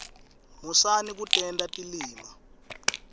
musani kutenta tilima